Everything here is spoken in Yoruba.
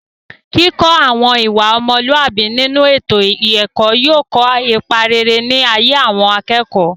kíkọ́ àwọn ìwà ọmọlúàbí nínú ètò ẹ̀kọ́ yóò kó ipa rere ní ayé àwọn akẹ́kọ̀ọ́